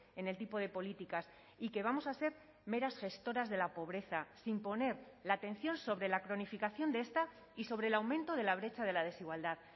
en el tipo de políticas y que vamos a ser meras gestoras de la pobreza sin poner la atención sobre la cronificación de esta y sobre el aumento de la brecha de la desigualdad